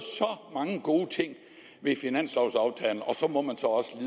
mange gode ting ved finanslovaftalen og så må man